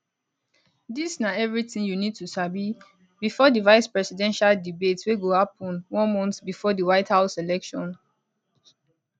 dis na everytin you need to sabi bifor di vicepresidential debate wey go happun one month bifor di white house election